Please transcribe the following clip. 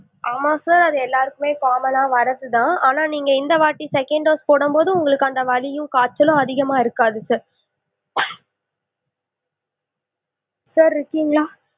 ஆமா sir அது எல்லாருக்குமே common னா வரதுதான் ஆனா நீங்க இந்த வாட்டி second dose போடும் போது அந்த வலியும் காய்ச்சலும் அதிகமா இருக்காது sir sir இருக்கீங்களா?